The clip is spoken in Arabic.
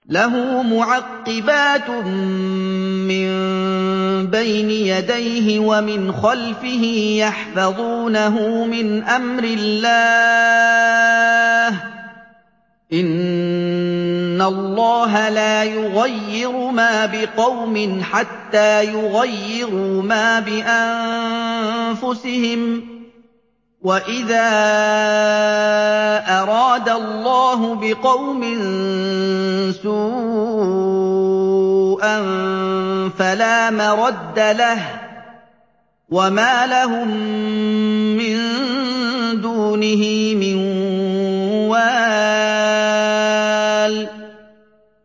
لَهُ مُعَقِّبَاتٌ مِّن بَيْنِ يَدَيْهِ وَمِنْ خَلْفِهِ يَحْفَظُونَهُ مِنْ أَمْرِ اللَّهِ ۗ إِنَّ اللَّهَ لَا يُغَيِّرُ مَا بِقَوْمٍ حَتَّىٰ يُغَيِّرُوا مَا بِأَنفُسِهِمْ ۗ وَإِذَا أَرَادَ اللَّهُ بِقَوْمٍ سُوءًا فَلَا مَرَدَّ لَهُ ۚ وَمَا لَهُم مِّن دُونِهِ مِن وَالٍ